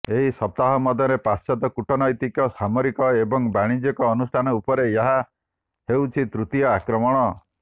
ଏକ ସପ୍ତାହ ମଧ୍ୟରେ ପାଶ୍ଚାତ୍ୟ କୂଟନୈତିକ ସାମରିକ ଏବଂ ବାଣିଜ୍ୟିକ ଅନୁଷ୍ଠାନ ଉପରେ ଏହା ହେଉଛି ତୃତୀୟ ଆକ୍ରମଣ